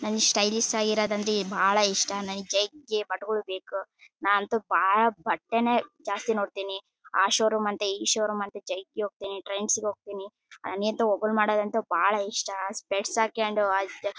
ನನ್ನ ಸ್ಟೈಲಿಶ್ ಆಗಿರೋದ್ರಂದ್ರೆ ಬಹಳ್ ಇಷ್ಟ ಬಟಗಳು ಬೇಕು ನಾನಂತು ಬಹಳ್ ಬಟ್ಟೆನೆ ಜಾಸ್ತಿ ನೋಡತ್ತೀನಿ. ಆ ಶೋ ರೂಮ್ ಅಂತೇ ಈ ಶೋ ರೂಮ್ ಅಂತೇ ಟ್ರೆಂಡ್ಸ್ ಗೆ ಹೋಗತ್ತೀನಿ ಬಹಳ್ ಇಷ್ಟ ಆ ಸ್ಪೆಕ್ಸ್ ಹಾಕೊಂಡು